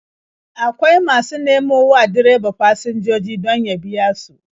Akwai masu nemo wa direba fasinjoji don ya biya su.